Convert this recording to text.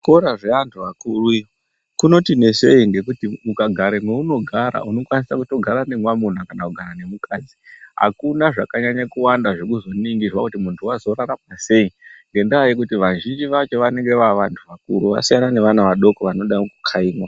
Kuzvikora zveantu akuru kunoti nesei ngekuti ukagare mweunogara unokwanisa kutogara nemwamuna kana kugara nemukadzi .Akuna zvakanyanye kuwanda kuringirwa kuti muntu wazorarama sei ngendaa yekuti azhinji acho anenge aantu akuru asiyana neana adoko anode kukhaimwa.